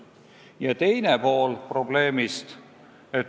Ja teine pool probleemist.